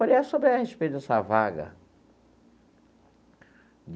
Falei, é sobre a respeito dessa vaga.